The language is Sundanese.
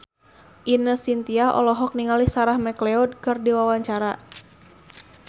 Ine Shintya olohok ningali Sarah McLeod keur diwawancara